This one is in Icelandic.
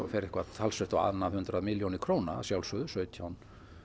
eitthvað talsvert á annað hundrað milljónir króna að sjálfsögðu sautján